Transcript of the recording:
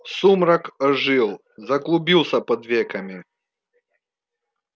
сумрак ожил заклубился под веками